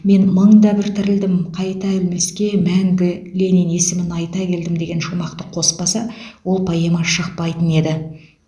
мен мың да бір тірілдім қайта өлмеске мәңгі ленин есімін айта келдім деген шумақты қоспаса ол поэма шықпайтын еді